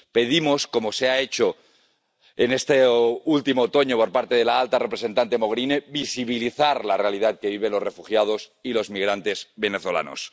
Pedimos, como ha hecho este último otoño la alta representante Mogherini, visibilizar la realidad que viven los refugiados y los migrantes venezolanos.